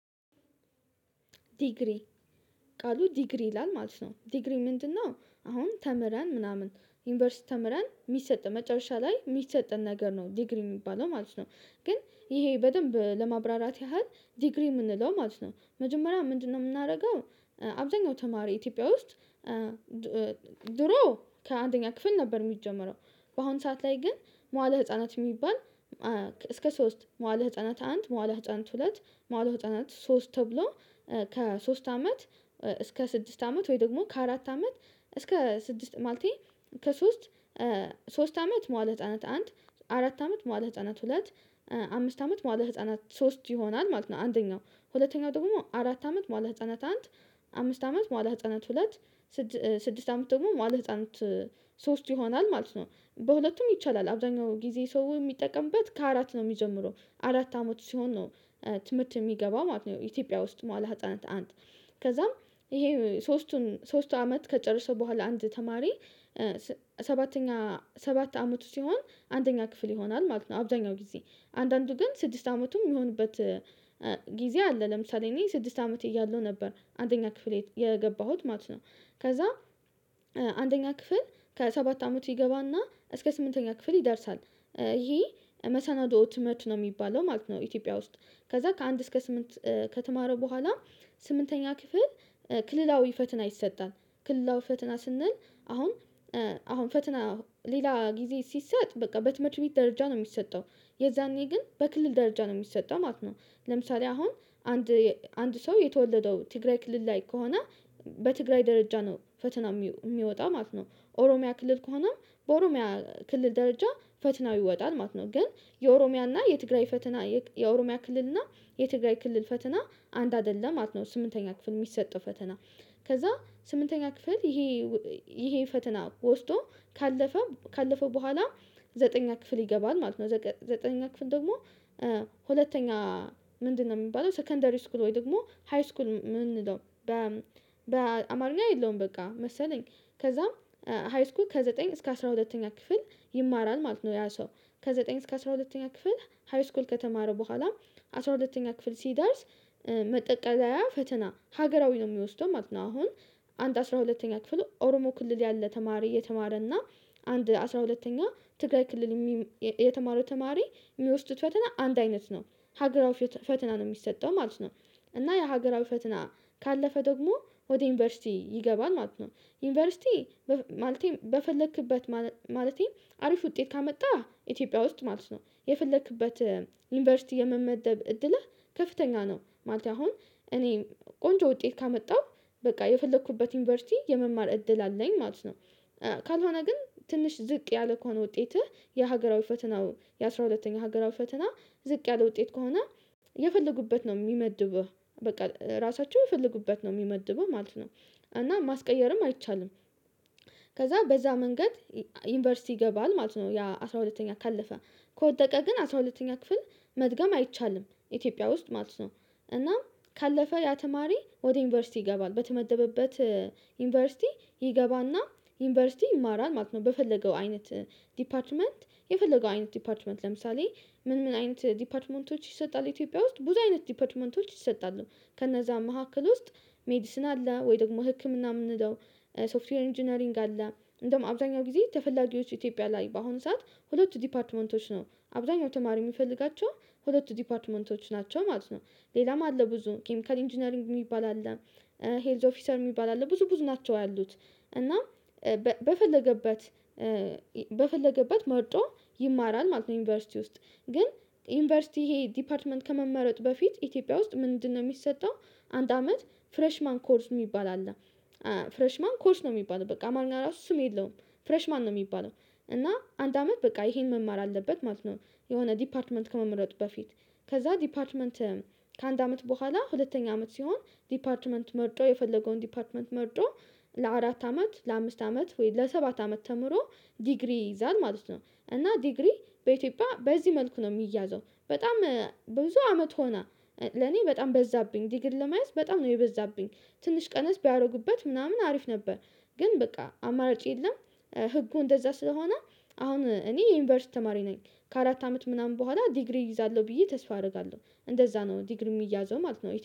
ዲግሪ ቃሉ ዲግሪ ይላል ማለት ነው ዲግሪ ምንድነው? አሁን ተምረን ምናምን ዩኒቨርሲቲ ተምረን የሚሰጥ መጨረሻ ላይ የሚሰጥን ነገር ነው ዲግሪ የሚባለው ማለት ነው። ግን ይሄ በደንብ ለማብራራት ያህል ዲግሪ የምንለው ማለት ነው መጀመሪያ ምንድነው የምናደርገው አብዛኛው ተማሪ ኢትዮጵያ ውስጥ ድሮ ከአንደኛ ክፍል ነበር የሚጀመረው። በአሁን ሰዓት ላይ ግን መዋለ ህፃናት የሚባል እስከ ሶስት መዋለ ህፃናት አንድ መዋለ ህፃናት ሁለት መዋል ሶስት ተብሎ። ከሶስት አመት እስከ ስድስት አመት ወይ ደግሞ ከአራት አመት እስከ ስድስት ማለቴ ከሶስት ሶስት አመት መዋለ ህፃናት አንድ አራት አመት መዋለ ህፃናት ሁለት አምስት አመት መዋለ ህፃናት ሶስት ይሆናል ማለት ነው። አንደኛው ሁለተኛው ደግሞ አራት አመት መዋል ህፃነት አንድ አምስት አመት መዋል ህፃናት ሁለት ስድስት አመት ደግሞ መዋለ ህፃናት ሶስት ይሆናል ማለት ነው። በሁለቱም ይቻላል አብዛኛው ጊዜ ሰው የሚጠቀምበት ከአራት ነው የሚጀምረው አራት አመት ሲሆን ነው። ትምህርት የሚገባው ማለት ነው ኢትዮጵያ ውስጥ መዋለ ህፃናት አንድ ከዛም ይሄ ሶስቱን ሶስት አመት ከጨረሰ በኋላ አንድ ተማሪ። ሰባተኛ ሰባት አመቱ ሲሆን አንደኛ ክፍል ይሆናል ማለት አብዛኛው ጊዜ አንዳንዱ ግን ስድስት አመቱም የሚሆንበት ጊዜ አለ ለምሳሌ እኔ ስድስት አመት እያለሁ ነበር አንደኛ ክፍል የገባሁት ማለት ነው። ከዛ አንደኛ ክፍል ከሰባት አመት ይገባና እስከ ስምንተኛ ክፍል ይደርሳል ይሄ መሰናዶ ትምህርት ነው የሚባለው ማለት ነው። ኢትዮጵያ ውስጥ ከዛ ከአንድ እስከ ስምንት ከተማረ በኋላ ስምንተኛ ክፍል ክልላዊ ፈተና ይሰጣል። ክልላዊ ፈትና ስንል አሁን አሁን ፈትና ሌላ ጊዜ ሲሰጥ በቃ በትምህርት ቤት ደረጃ ነው የሚሰጠው። የዛኔ ግን በክልል ደረጃ ነው የሚሰጠው ማለት ነው። ለምሳሌ አሁን አንድ አንድ ሰው የተወለደው ትግራይ ክልል ላይ ከሆነ በትግራይ ደረጃ ነው ፈተና የሚወጣ ማለት ነው። ኦሮሚያ ክልል ከሆነ በኦሮሚያ ክልል ደረጃ ፈተናው ይወጣል ማለት ነው። ግን የኦሮሚያና የትግራይ ፈተና የኦሮሚያ ክልልና የትግራይ ክልል ፈተና አንድ አይደለም ማለት ነው። ስምንተኛ ክፍል የሚሰጠው ፈተና ከዛ ስምንተኛ ክፍል ይሄ ይሄ ፈተና ወስዶ ካለፈ ካለፈ በኋላ ዘጠነኛ ክፍል ይገባል ማለት ነው። ዘጠነኛ ክፍል ደግሞ ሁለተኛ ምንድነው የሚባለው ሰከንደሪ ስኩል ወይ ደግሞ ሃይስኩል የምንለው። በአማርኛ የለውም በቃ መሰለኝ። ከዛም ሃይስኩል ከዘጠኝ እስከ አስራ ሁለተኛ ክፍል ይማራል ማለት ነው። ያ ሰው ከዘጠኝ እስከ አስራ ሁለተኛ ክፍል ሃይስኩል ከተማረ በኋላ አስራ ሁለተኛ ክፍል ሲደርስ ማጠቃለያ ፈተና ሀገራዊ ነው የሚወስደው ማለት ነው። አሁን አንድ አስራ ሁለተኛ ክፍል ኦሮሞ ክልል ያለ ተማሪ የተማረ እና አንድ አስራ ሁለተኛ ትግራይ ክልል የሚማ የተማረው ተማሪ የሚወስዱት ፈተና አንድ አይነት ነው። ሀገራዊ ፈተና ነው የሚሰጠው ማለት ነው። እና የሀገራዊ ፈተና ካለፈ ደግሞ ወደ ዩኒቨርሲቲ ይገባል ማለት ነው። ዩኒቨርሲቲ ማለቴ በፈለክበት ማለቴ አሪፍ ውጤት ካመጣ ኢትዮጵያ ውስጥ ማለት ነው የፈለክበት ዩኒቨርሲቲ የመመደብ እድለህ ከፍተኛ ነው ማለት አሁን እኔ ቆንጆ ውጤት ካመጣሁ በቃ የፈለኩበት ዩኒቨርሲቲ የመማር እድል አለኝ ማለት ነው። ካልሆነ ግን ትንሽ ዝቅ ያለ ከሆነ ውጤትህ የሀገራዊ ፈተናው የአሥራ ሁለተኛው ሀገራዊ ፈተና ዝቅ ያለ ውጤት ከሆነ የፈለጉበት ነው የሚመድብ በቃ ራሳቸው የፈለጉበት ነው የሚመድበው ማለት ነው። እና ማስቀየርም አይቻልም። ከዛ በዛ መንገድ ዩኒቨርሲቲ ይገባል ማለት ነው ያ አስራ ሁለተኛ ካለፈ ከወደቀ ግን አስራ ሁለተኛ ክፍል መድገም አይቻልም ኢትዮጵያ ውስጥ ማለት ነው። እና ካለፈ ያ ተማሪ ወደ ዩኒቨርሲቲ ይገባል በተመደበበት ዩኒቨርሲቲ ይገባና ዩኒቨርሲቲ ይማራል ማለት ነው። በፈለገው አይነት ዲፓርትመንት የፈለገው አይነት ዲፓርትመንት ለምሳሌ ምን ምን አይነት ዲፓትመንቶች ይሰጣል ኢትዮጵያ ውስጥ ብዙ አይነት ዲፓትመንቶች ይሰጣሉ። ከነዛ መካከል ውስጥ ሜዲሲን አለ ወይ ደግሞ ህክምና የምንለው። ሶፍትዌር ኢንጂነሪንግ አለ። እንደውም አብዛኛው ጊዜ ተፈላጊዎች ኢትዮጵያ ላይ በአሁኑ ሰዓት ሁለት ዲፓርትመንቶች ነው። አብዛኛው ተማሪ የሚፈልጋቸው ሁለቱ ዲፓርትመንቶች ናቸው ማለት ነው። ሌላም አለ ብዙ ኬሚካል ኢንጂነሪንግ የሚባል አለ። ሄልዝ ኦፊሰር የሚባል አለ ብዙ ብዙ ናቸው ያሉት እና በፈለገበት በፈለገበት መርጦ ይማራል ማለት ነው። ዩኒቨርሲቲ ውስጥ ግን ዩኒቨርሲቲ ይሄ ዲፓርትመንት ከመመረጥ በፊት ኢትዮጵያ ውስጥ ምንድነው የሚሰጠው? አንድ አመት ፍሬሽ ማን ኮርስ የሚባል አለ። ፍሬሽ ማን ኮርስ ነው የሚባለው በቃ አማረኛ ራሱ ስም የለውም። ፍሬሽ ማን ነው የሚባለው? እና አንድ አመት በቃ ይሄን መማር አለበት ማለት ነው። የሆነ ዲፓርትመንት ከመመረጡ በፊት ከዛ ዲፓርትመንት ከአንድ አመት በኋላ ሁለተኛ አመት ሲሆን ዲፓርትመንት መርጦ የፈለገውን ዲፓርትመንት መርጦ ለአራት አመት ለአምስት አመት ወይም ለሰባት አመት ተምሮ ዲግሪ ይዛል ማለት ነው። እና ዲግሪ በኢትዮጵያ በዚህ መልኩ ነው የሚያዘው በጣም ብዙ አመት ሆና። ለኔ በጣም በዛብኝ ዲግሪ ለማየት በጣም ነው የበዛብኝ። ትንሽ ቀነስ ቢያደርጉበት ምናምን አሪፍ ነበር። ግን በቃ አማራጭ የለም። ህጉ እንደዛ ስለሆነ አሁን እኔ የዩኒቨርሲቲ ተማሪ ነኝ። ከአራት አመት ምናምን በኋላ ዲግሪ እይዛለሁ ብዬ ተስፋ አደርጋለሁ እንደዛ ነው ዲግሪ የሚያዘው ማለት ነው